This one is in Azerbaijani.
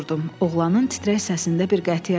Oğlanın titrək səsində bir qətiyyət vardı.